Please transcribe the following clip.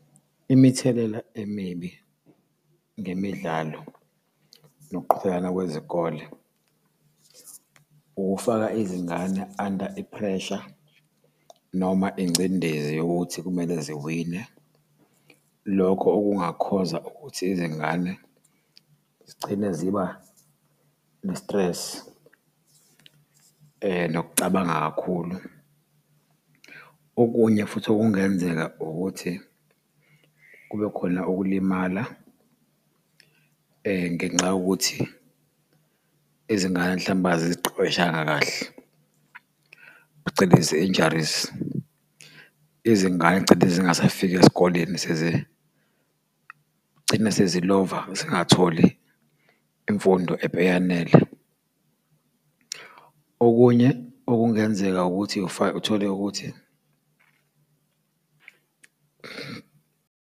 Imithelela emibi ngemidlalo nokuqhudelana kwezikole, ukufaka izingane under iphresha, noma ingcindezi yokuthi kumele ziwine, lokhu okungakhoza ukuthi izingane zigcine ziba ne-stress nokucabanga kakhulu. Okunye futhi okungenzeka ukuthi kube khona ukulimala ngenxa yokuthi izingane mhlampe aziziqeqeshanga kahle, phecelezi injuries. Izingane gcine zingasafiki esikoleni gcine sezilova zingatholi imfundo eyanele. Okunye okungenzeka ukuthi uthole ukuthi.